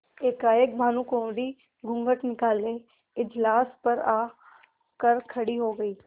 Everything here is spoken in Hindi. एकाएक भानुकुँवरि घूँघट निकाले इजलास पर आ कर खड़ी हो गयी